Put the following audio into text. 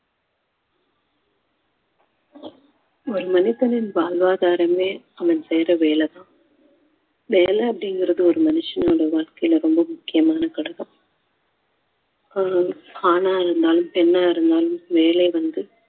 ஒரு மனிதனின் வாழ்வாதாரமே அவன் செய்யுற வேலைதான் வேலை அப்படிங்கறது ஒரு மனுஷனோட வாழ்க்கையில ரொம்ப முக்கியமான ஆ~ ஆணா இருந்தாலும் பெண்ணா இருந்தாலும் வேலை வந்து